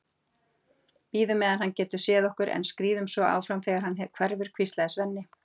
Bíðum meðan hann getur séð okkur, en skríðum svo áfram þegar hann hverfur, hvíslaði Svenni.